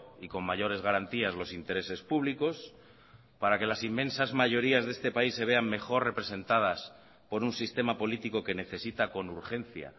y con mayores garantías los intereses públicos para que las inmensas mayorías de este país se vean mejor representadas por un sistema político que necesita con urgencia